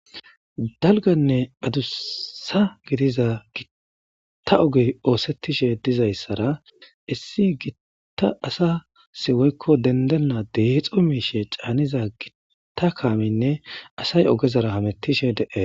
dalganne adussa gidiza gitta ogey oosettishe dizayssara issi gitta asa siwoykko dendenna deexo miishe caaniza gitta kaaminne asay ogezara hamettishe de7e